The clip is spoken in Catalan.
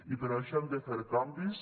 i per això hem de fer canvis